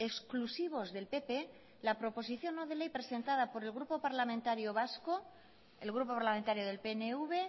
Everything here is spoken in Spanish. exclusivos del pp la proposición no de ley presentada por el grupo parlamentario vasco el grupo parlamentario del pnv